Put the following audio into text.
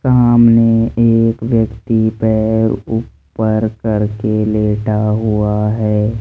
सामने एक व्यक्ति पैर ऊपर करके लेटा हुआ है।